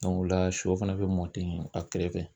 o la shɔ fana bɛ mɔn ten a kɛrɛfɛ.